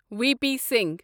V P Singh